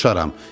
Soruşaram.